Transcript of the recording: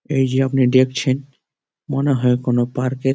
এইযে আপনি দেখছেন মনে হয় কোনো পার্ক -এর--